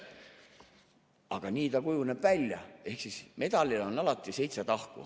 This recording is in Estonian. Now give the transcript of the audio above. Aga nii ta kujuneb välja ehk siis medalil on alati seitse tahku.